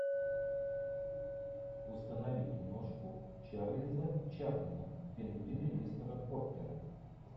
установи киношку чарльза чаплина пингвины мистера поппера